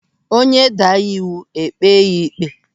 Onye daa iwu, e kpee ya ịkpe.